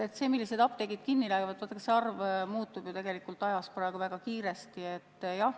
See info, millised apteegid kinni lähevad, muutub praegu väga kiiresti.